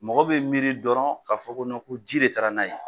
Mɔgɔ bɛ miiri dɔrɔn ka fɔ ko ko ji de taara n'a ye.